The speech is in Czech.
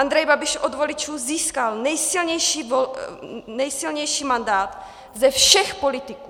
Andrej Babiš od voličů získal nejsilnější mandát ze všech politiků.